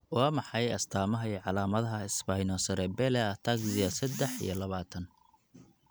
Waa maxay astamaha iyo calaamadaha Spinocerebellar ataxia sedex iyo labatan?